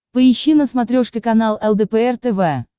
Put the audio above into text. поищи на смотрешке канал лдпр тв